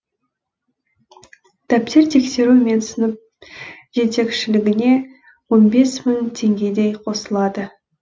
дәптер тексеру мен сынып жетекшілігіне он бес мың теңгедей қосылады